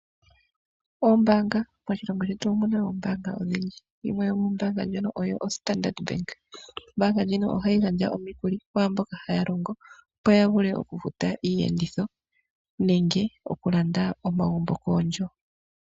Moshilongo shetu omuna ombaanga yimwe yomudho oStandard bank ndjono hayi gandja omikuli kaantu mbono haya longo ya vule okufuta iiyenditho nenge okulanda omagumbo koondjo.